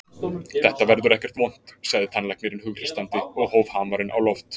Þetta verður ekkert vont, sagði tannlæknirinn hughreystandi og hóf hamarinn á loft.